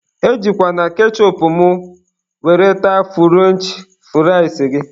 E jikwana kechụpụ mụ were taa frụrench fụrịas gị